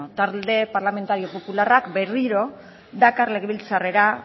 talde parlamentario popularrak berriro dakar legebiltzarrera